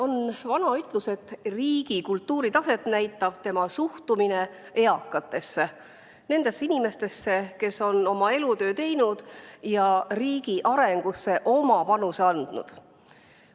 On vana ütlus, et riigi kultuuritaset näitab tema suhtumine eakatesse – nendesse inimestesse, kes on oma elutöö teinud ja riigi arengusse oma panuse andnud.